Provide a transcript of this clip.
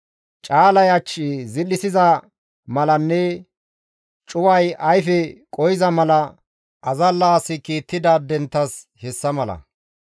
Caalay ach zil7issiza malanne cuway ayfe qohiza mala azalla asi kiittidaadenttas hessa mala.